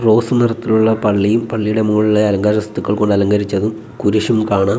Rose നിറത്തിലുള്ള പള്ളിയും പള്ളിയുടെ മുകളിലായി അലങ്കാര വസ്തുക്കൾ കൊണ്ട് അലങ്കരിച്ചതും കുരിശും കാണാം.